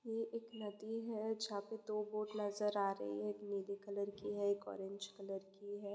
यह एक नदी है जाहापे दो बोट नजर आ रही है। नीले कलर की है एक ऑरेंज कलर की है।